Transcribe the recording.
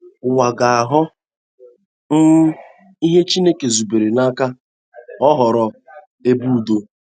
Ụwa ga - aghọ um ihe Chineke zubere ka ọ ghọrọ — ebe ụdo